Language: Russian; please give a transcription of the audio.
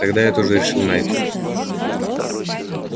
тогда я тоже решил найд